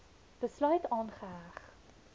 besluit aangeheg